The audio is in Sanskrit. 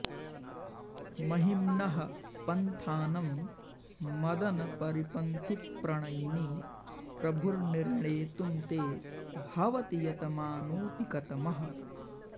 महिम्नः पन्थानं मदनपरिपन्थिप्रणयिनि प्रभुर्निर्णेतुं ते भवति यतमानोऽपि कतमः